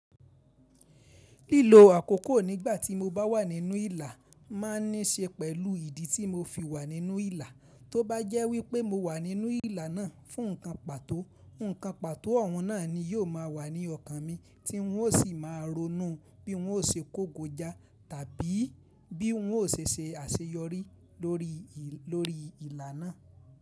Lilo akoko nigba ti mo ba wa ninu ila, ma ni se pelu idi ti mo fi wa ninu ila. To ba je wipe mo wa ninu ila naa fun nkan pato, nkan pato oun naa ni yio ma wa ni okan mi, ti n o si ma ronú bi n o se kogo ja tabi bi n o se se aseyori lori, lori ila naa.